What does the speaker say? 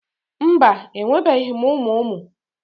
Mba, enwebeghị m ụmụ ụmụ